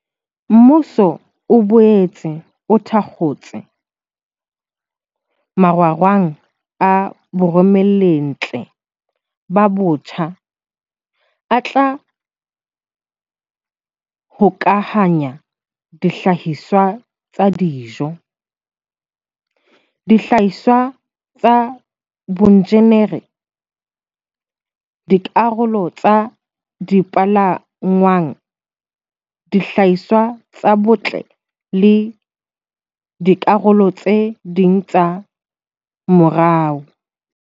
Mmuso o boetse o thakgotse marangrang a baromellintle ba batsho a tla hokahanya dihlahiswa tsa dijo, dihlahiswa tsa boinjinere, dikarolo tsa dipalangwang, dihlahiswa tsa botle le dikarolo tse ding tsa moruo.